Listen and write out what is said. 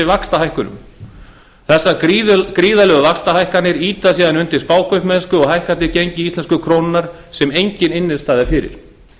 vaxtahækkunum þessar gríðarlegu vaxtahækkanir ýta síðan undir spákaupmennsku og hækkandi gengi íslensku krónunnar sem engin innstæða er fyrir